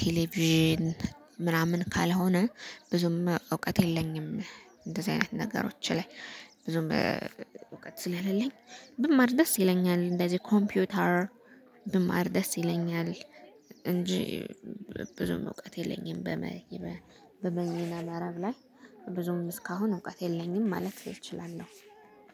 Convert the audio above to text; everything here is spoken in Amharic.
ቴሌቪዥን ምናምን ካልሆነ ብዙም እውቀት የለኝም እንደዚ አይነት ነገሮች ላይ። ብዙም እውቀት ስለሌለኝ ብማር ደስ ይለኛል እንደዚ ኮምፒውተር። ብማር ደስ ይለኛል እንጂ ብዙም እውቀት የለኝም። በበይነመረብ ላይ ብዙም እስካሁን እውቀት የለኝም ማለት እችላለው